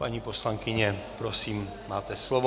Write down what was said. Paní poslankyně, prosím, máte slovo.